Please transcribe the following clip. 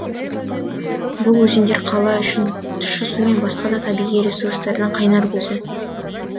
бұл өзендер қала үшін тұщы су мен басқа да табиғи ресурстардың қайнар көзі